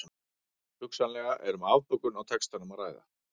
Hugsanlega er um afbökun í textanum að ræða.